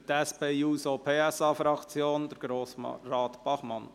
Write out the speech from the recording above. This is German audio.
Für die SP-JUSO-PSA-Fraktion spricht Grossrat Bachmann.